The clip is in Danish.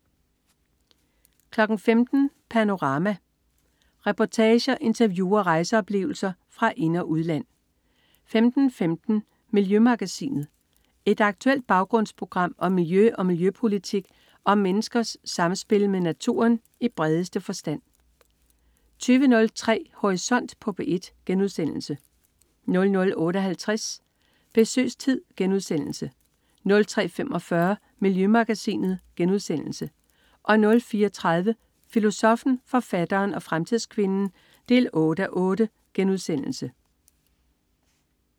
15.00 Panorama. Reportager, interview og rejseoplevelser fra ind- og udland 15.15 Miljømagasinet. Et aktuelt baggrundsprogram om miljø og miljøpolitik og om menneskers samspil med naturen i bredeste forstand 20.03 Horisont på P1* 00.58 Besøgstid* 03.45 Miljømagasinet* 04.30 Filosoffen, forfatteren og fremtidskvinden 8:8*